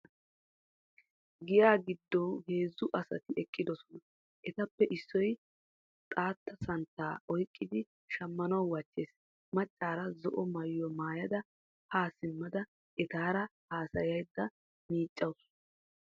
Giyaa giddo heezzu asati eqqidosona. Etappe issoy xaatta santtaa oyqqidi shammanawu wachchees. Maccaara zo'o maayuwa maayada ha simmada etaara hasayaydda miiccawusu.